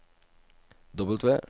W